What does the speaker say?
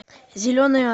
зеленая